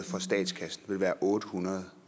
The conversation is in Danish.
for statskassen ville være otte hundrede